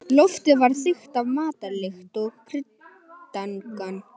Loftið var þykkt af matarlykt og kryddangan.